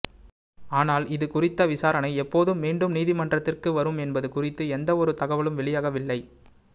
ஆனால் இது குறித்த விசாரணை எப்போதும் மீண்டும் நீதிமன்றத்திற்கு வரும் என்பது குறித்து எந்த ஒரு தகவலும் வெளியாகவில்லை